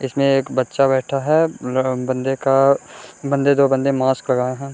इसमें एक बच्चा बैठा है | बंदे का बंदे दो बंदे मास्क लगाए हैं |